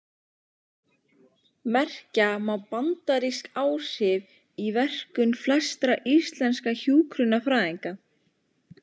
Merkja má bandarísk áhrif í verkum flestra íslenskra hjúkrunarfræðinga.